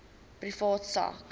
privaat sak